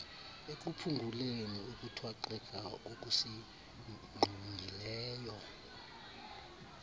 ekuphunguleni ukuthwaxeka kokusinqongileyo